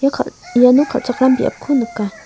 kal iano kal·chakram biapko nika.